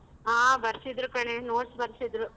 ಆ ಬರ್ಸಿದ್ರು ಕಣೆ notes ಬರ್ಸಿದ್ರು.